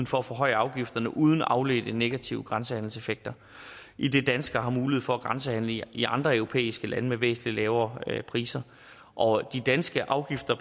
for at forhøje afgifterne uden afledte negative grænsehandelseffekter idet danskere har mulighed for at grænsehandle i i andre europæiske lande med væsentlig lavere priser og de danske afgifter